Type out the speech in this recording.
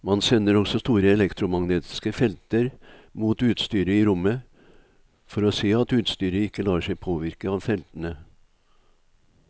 Man sender også store elektromagnetiske felter mot utstyret i rommet for å se at utstyret ikke lar seg påvirke av feltene.